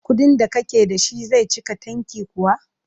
Kuɗin da kake da shi zai cika tanki kuwa?